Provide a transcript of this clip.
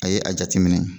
A ye a jateminɛ